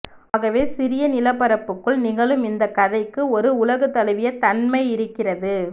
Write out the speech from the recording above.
ஆகவே சிறிய நிலப்பரப்புக்குள் நிகழும் இந்த கதைக்கு ஒரு உலகுதழுவிய தன்மை இருக்கிரது